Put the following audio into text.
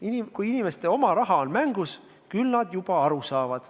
Kui mängus on inimeste oma raha, küll nad siis juba aru saavad.